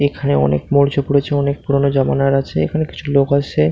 এখানে অনেক মরচে পড়েছে অনেক পুরোনো জামানার আছে এ এখানে কিছু লোক আসছে।